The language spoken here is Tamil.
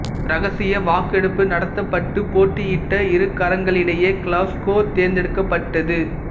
இரகசிய வாக்கெடுப்பு நடத்தப்பட்டு போட்டியிட்ட இரு நகரங்களுக்கிடையே கிளாஸ்கோ தேர்ந்தெடுக்கப்பட்டது